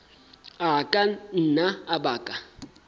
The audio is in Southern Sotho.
a ka nna a baka